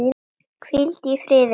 Hvíldu í friði, afi.